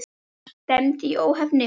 Annars stefndi í óefni.